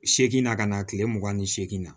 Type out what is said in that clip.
Segi na ka na kile mugan ni seegin na